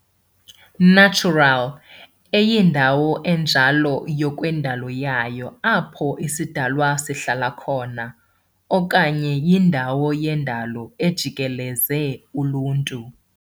natural eyindawo enjalo ngokwendalo yayo apho isidalwa sihlala khona, okanye yindawo yendalo ejikeleze uluntu.